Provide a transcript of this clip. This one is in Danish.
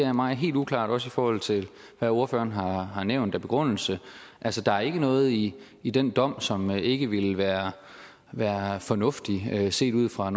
er mig helt uklart også i forhold til hvad ordføreren har har nævnt af begrundelse altså der er ikke noget i i den dom som ikke ville være være fornuftigt set ud fra